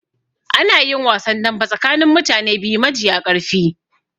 Anayin wasan dambe tsakanin mutane biyu majiya ƙarfi